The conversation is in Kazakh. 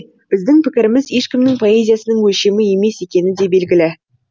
біздің пікіріміз ешкімнің поэзиясының өлшемі емес екені де белгілі